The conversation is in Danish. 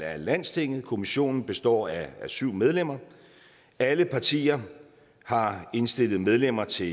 af landstinget kommissionen består af syv medlemmer og alle partier har indstillet medlemmer til